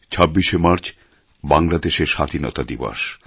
২৬শে মার্চ বাংলাদেশের স্বাধীনতা দিবস